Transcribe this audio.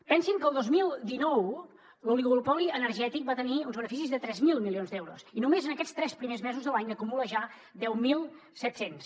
pensin que el dos mil dinou l’oligopoli energètic va tenir uns beneficis de tres mil milions d’euros i només en aquests tres primers mesos de l’any n’acumula ja deu mil set cents